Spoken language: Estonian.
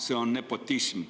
See on nepotism.